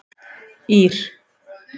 Ír